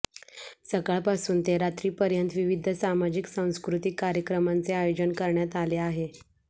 सकाळ पासुन ते रात्री पर्यंत विविध सामाजिक सांस्कृतिक कार्यक्रमांचे आयोजन करण्यात आले आहे